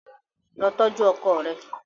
Lọ tọju ọkọ rẹ!